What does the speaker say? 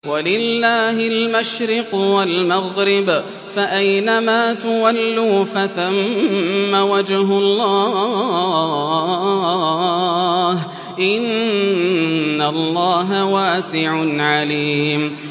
وَلِلَّهِ الْمَشْرِقُ وَالْمَغْرِبُ ۚ فَأَيْنَمَا تُوَلُّوا فَثَمَّ وَجْهُ اللَّهِ ۚ إِنَّ اللَّهَ وَاسِعٌ عَلِيمٌ